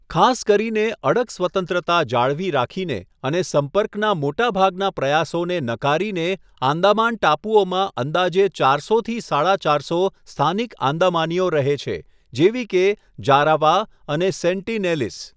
ખાસ કરીને, અડગ સ્વતંત્રતા જાળવી રાખીને અને સંપર્કના મોટાભાગના પ્રયાસોને નકારીને, આંદામાન ટાપુઓમાં અંદાજે ચારસો થી સાડા ચારસો સ્થાનિક આંદામાનીઓ રહે છે, જેવી કે જારાવા અને સેન્ટીનેલીઝ.